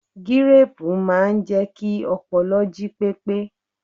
Gíréẹ̀pù máa ń jẹ́ kí ọpọlọ jí pépé